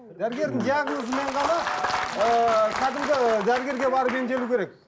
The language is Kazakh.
дәргердің диагнозы мен ғана ыыы кәдімгі дәрігерге барып емделу керек